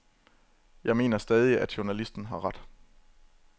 Jeg mener stadig, at journalisten har ret.